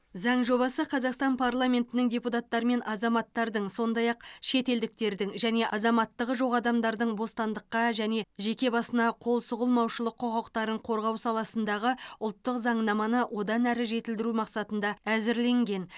заң жобасы қазақстан парламентінің депутаттары мен азаматтардың сондай ақ шетелдіктердің және азаматтығы жоқ адамдардың бостандыққа және жеке басына қол сұғылмаушылық құқықтарын қорғау саласындағы ұлттық заңнаманы одан әрі жетілдіру мақсатында әзірленген